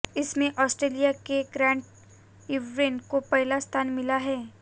इसमें ऑस्ट्रेलिया के Grant Irvine को पहला स्थान मिला है